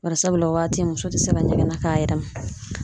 Barisabula o waati muso tɛ se ka ɲɛgɛn na k'a yɛrɛ ma.